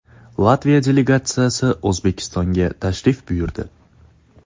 Latviya delegatsiyasi O‘zbekistonga tashrif buyurdi.